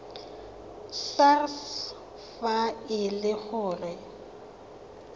sars fa e le gore